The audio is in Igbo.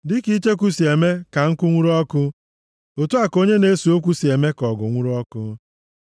Dịka icheku si eme ka nkụ nwuru ọkụ, otu a ka onye na-ese okwu si eme ka ọgụ nwuru ọkụ.